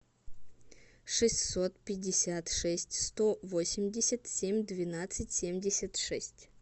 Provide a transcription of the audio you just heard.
шестьсот пятьдесят шесть сто восемьдесят семь двенадцать семьдесят шесть